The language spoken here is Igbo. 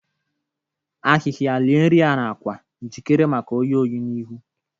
Ahịhịa lie nri ya n’akwa, jikere maka oyi oyi n’ihu.